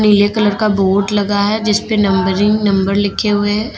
पीले कलर का बोर्ड लगा हुआ है जीसपे नंबरिंग नंबर लिखें हुए हैं।